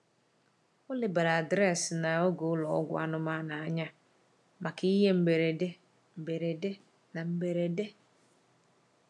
Ọ lebara adreesị na oge ụlọ ọgwụ anụmanụ anya maka ihe mberede mberede na mberede.